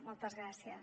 moltes gràcies